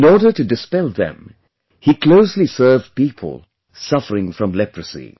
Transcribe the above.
In order to dispel them, he closely served people suffering from leprosy